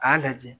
K'a lajɛ